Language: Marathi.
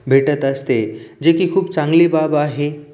भेटत असते जे की खूप चांगली बाब आहे.